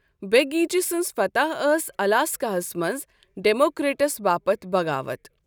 بیگیچِ سنز فتح ٲس الاسکاہَس منٛز ڈیموکریٹس باپتھ بغاوت۔